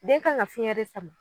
Den kan ka fiɲɛ de sama.